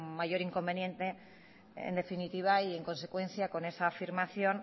mayor inconveniente en definitiva y en consecuencia con esa afirmación